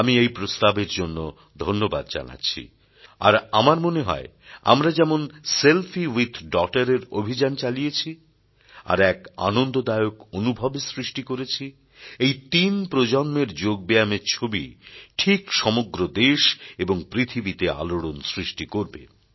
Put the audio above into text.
আমি এই প্রস্তাবের জন্য ধন্যবাদ জানাচ্ছি আর আমার মনে হয় আমরা যেমন সেলফি উইথ ডগটার এর অভিযান চালিয়েছি আর এক আনন্দদায়ক অনুভবের সৃষ্টি করেছি এই তিন প্রজন্মের যোগব্যায়ামের ছবি ঠিক সমগ্র দেশ এবং পৃথিবীতে আলোড়ন সৃষ্টি করবে